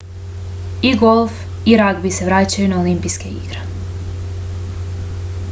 i golf i ragbi se vraćaju na olimpijske igre